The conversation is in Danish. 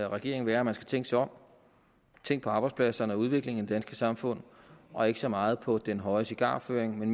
regeringen være at man skal tænke sig om tænk på arbejdspladserne og udviklingen danske samfund og ikke så meget på den høje cigarføring